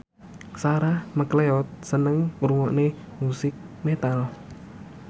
Sarah McLeod seneng ngrungokne musik metal